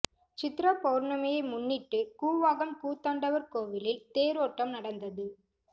சித்ரா பவுர்ணமியை முன்னிட்டு கூவாகம் கூத்தாண்டவர் கோவிலில் தேரோட்டம் நடந்தது